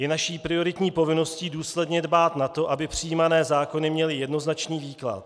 Je naší prioritní povinností důsledně dbát na to, aby přijímané zákony měly jednoznačný výklad.